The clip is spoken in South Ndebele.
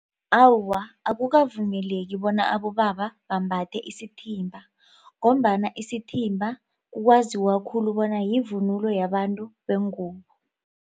Awa akukavumeleki bona abobaba bambathe isithimba ngombana isithimba kwaziwa khulu bona yivunulo yabantu bengubo.